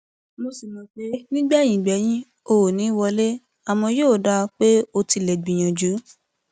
mo sì mọ pé nígbẹyìn gbẹyín o ò ní í wọlé àmọ yóò dáa pé o tilẹ gbìyànjú